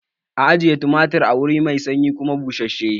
A ajiya tumatir a wuri mai sanyi kuma bussashe